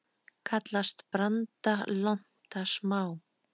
Kallast branda lonta smá.